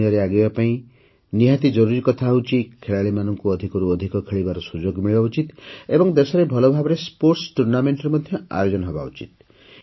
ଖେଳଦୁନିଆରେ ଆଗେଇବା ପାଇଁ ନିହାତି ଜରୁରୀ କଥା ହେଉଛି ଖେଳାଳିମାନଙ୍କୁ ଅଧିକରୁ ଅଧିକ ଖେଳିବାର ସୁଯୋଗ ମିଳିବା ଉଚିତ ଏବଂ ଦେଶରେ ଭଲ ଭାବରେ କ୍ରୀଡା ପ୍ରତିଯୋଗିତା ମଧ୍ୟ ଆୟୋଜିତ ହେବା ଉଚିତ